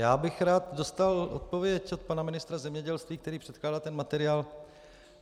Já bych rád dostal odpověď od pana ministra zemědělství, který předkládá ten materiál.